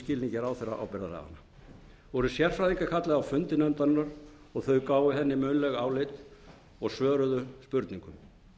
skilningi ráðherraábyrgðarlaganna voru sérfræðingar kallaðir á fundi nefndarinnar og þau gáfu henni munnleg álit og svöruðu spurningum